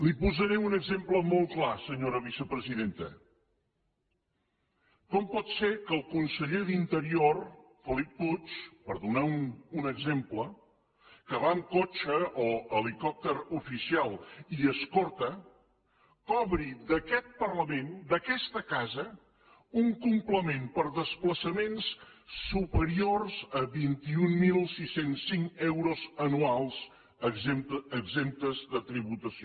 li posaré un exemple molt clar senyora vicepresidenta com pot ser que el conseller d’interior felip puig per donar un exemple que va amb cotxe o helicòpter oficial i escorta cobri d’aquest parlament d’aquesta casa un complement per despla çaments superior a vint mil sis cents i cinc euros anuals exempts de tributació